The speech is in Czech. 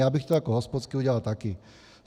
Já bych to jako hospodský udělal také.